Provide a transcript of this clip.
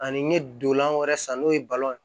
Ani n ye dolan wɛrɛ san n'o ye ye